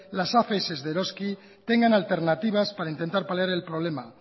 las afs de eroski tengan alternativas para intentar paliar el problema